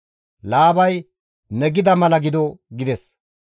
Laabay, «Ne gida mala gido» gides.